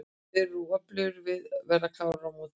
Þeir eru mjög öflugir og við verðum klárir á móti þeim.